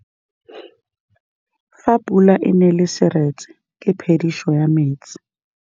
Fa pula e nelê serêtsê ke phêdisô ya metsi.